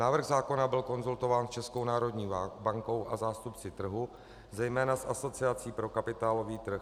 Návrh zákona byl konzultován s Českou národní bankou a zástupci trhu, zejména s Asociací pro kapitálový trh.